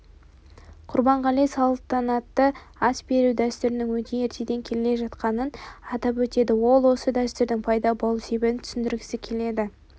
құрбанғали салтанатты ас беру дәстүрінің өте ертеден келе жатқанын атап өтеді ол осы дәстүрдің пайда болу себебін түсіндіргісі келеді